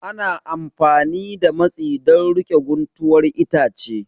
Ana amfani da matsi don riƙe guntuwar itace